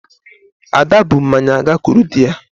Ada bu mmanya agakwuru dị ya